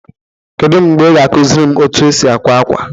Kedu mgbe ị ga-akụziri m otú e si akwa akwa?